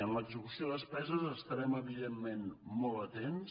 en l’execució de despeses estarem evidentment molt atents